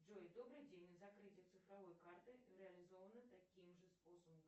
джой добрый день закрытие цифровой карты реализовано таким же способом